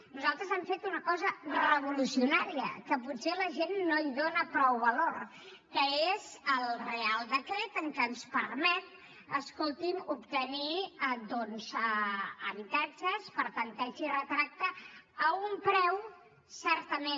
nosaltres hem fet una cosa revolucionària que potser la gent no hi dona prou valor que és el reial decret que ens permet escolti’m obtenir doncs habitatges per tanteig i retracte a un preu certament